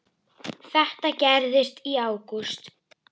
Þetta gerðist í ágúst.